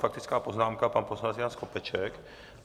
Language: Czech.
Faktická poznámka, pan poslanec Jan Skopeček.